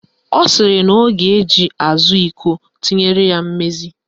Ọ sịrị na ọ ga-eji azụ iko tinyere ya mmezi